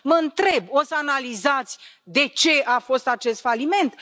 Mă întreb o să analizați de ce a fost acest faliment?